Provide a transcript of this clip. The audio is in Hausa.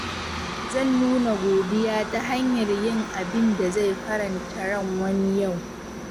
Zan nuna godiya ta hanyar yin abin da zai faranta ran wani yau.